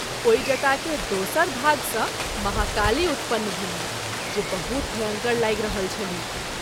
ओहि जटा के दोसर भाग सँ महाकाली उत्पन्न भेलीह जे बहुत भयंकर लागि रहल छलीह।